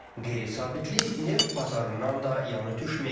Qeyri-sabitlik neft bazarından da yan ötməyib.